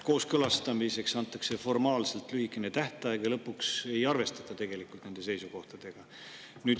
Kooskõlastamiseks antakse formaalselt lühikene tähtaeg ja lõpuks ei arvestata tegelikult nende seisukohtadega.